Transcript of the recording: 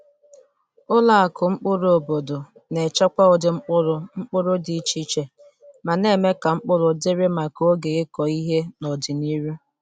Ụlọ akụ mkpụrụ obodo na-echekwa ụdị mkpụrụ mkpụrụ dị iche iche ma na-eme ka mkpụrụ dịrị maka oge ịkụ ihe n’ọdịnihu.